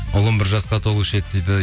ұлым бір жасқа толушы еді дейді